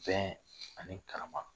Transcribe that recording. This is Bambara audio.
Bɛn ani karama.